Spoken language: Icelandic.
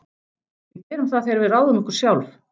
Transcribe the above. Við gerum það þegar við ráðum okkur sjálf.